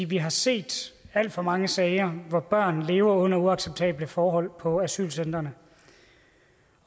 vi har set alt for mange sager hvor børn lever under uacceptable forhold på asylcentrene